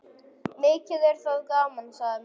Mikið er það gaman, sagði mamma.